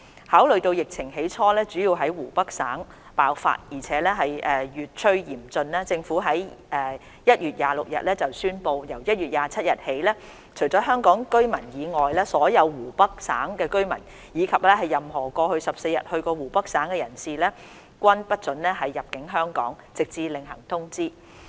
考慮到疫情起初主要在湖北省爆發而且越趨嚴峻，政府在1月26日宣布，由1月27日起，除香港居民外，所有湖北省居民，以及任何過去14日到過湖北省的人士，均不獲准入境香港，直至另行通知。